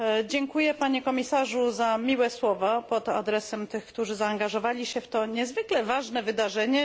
Dziękuję Panie Komisarzu za miłe słowa pod adresem tych, którzy zaangażowali się w to niezwykle ważne wydarzenie.